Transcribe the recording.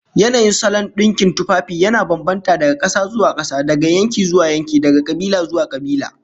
Yanayin salon dinkin tufafi yana bambanta daga kasa zuwa kasa, daga yanki zuwa yanki, daga kabila zuwa kabila